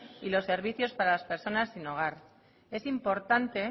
y los servicios para las personas sin hogar es importante